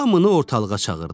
Hamını ortalığa çağırdı.